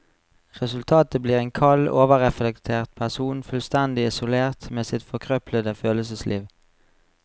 Resultatet blir en kald, overreflektert person, fullstendig isolert med sitt forkrøplede følelsesliv.